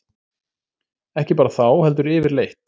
Ekki bara þá, heldur yfirleitt.